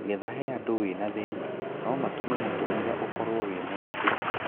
Getha he ũndũ wĩna thĩna ,no matũme mũtũrĩre ũkoro wĩ mũritũ.